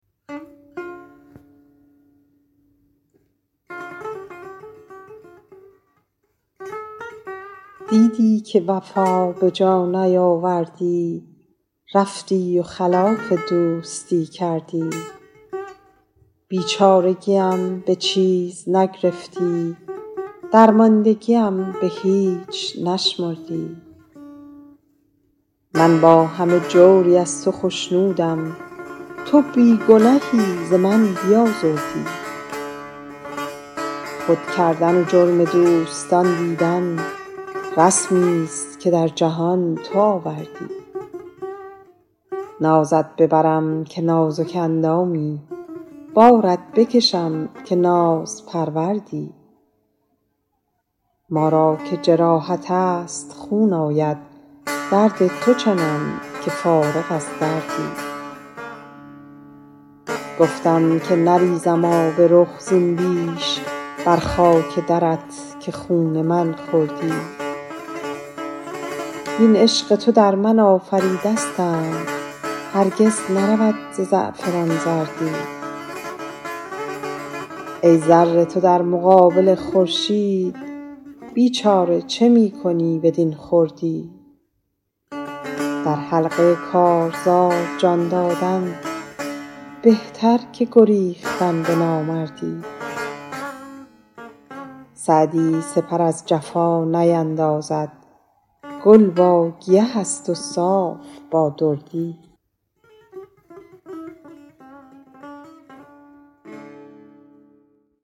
دیدی که وفا به جا نیاوردی رفتی و خلاف دوستی کردی بیچارگیم به چیز نگرفتی درماندگیم به هیچ نشمردی من با همه جوری از تو خشنودم تو بی گنهی ز من بیازردی خود کردن و جرم دوستان دیدن رسمیست که در جهان تو آوردی نازت ببرم که نازک اندامی بارت بکشم که نازپروردی ما را که جراحت است خون آید درد تو چنم که فارغ از دردی گفتم که نریزم آب رخ زین بیش بر خاک درت که خون من خوردی وین عشق تو در من آفریدستند هرگز نرود ز زعفران زردی ای ذره تو در مقابل خورشید بیچاره چه می کنی بدین خردی در حلقه کارزار جان دادن بهتر که گریختن به نامردی سعدی سپر از جفا نیندازد گل با گیه است و صاف با دردی